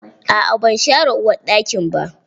Aa ban share uwarɗakin ba.